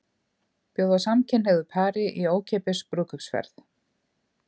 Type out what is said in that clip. Bjóða samkynhneigðu pari í ókeypis brúðkaupsferð